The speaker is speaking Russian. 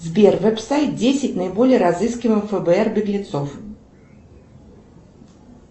сбер веб сайт десять наиболее разыскиваемых фбр беглецов